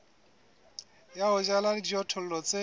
ya ho jala dijothollo tse